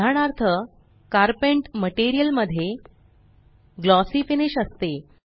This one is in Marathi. उदाहरणार्थ कारपेंट मटेरियल मध्ये ग्लॉसी फिनिश असते